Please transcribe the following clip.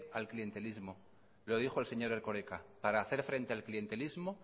al clientelismo lo dijo el señor erkoreka para hacer frente al clientelismo